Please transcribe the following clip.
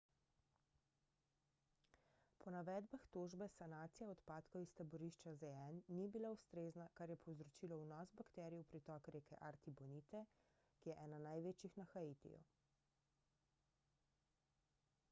po navedbah tožbe sanacija odpadkov iz taborišča zn ni bila ustrezna kar je povzročilo vnos bakterij v pritok reke artibonite ki je ena največjih na haitiju